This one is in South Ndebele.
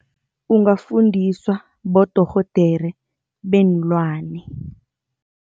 Ungafundiswa bodorhodere beenlwane.